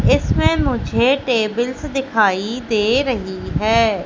इसमें मुझे टेबिल्स दिखाई दे रही है।